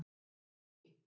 Lofar hann því?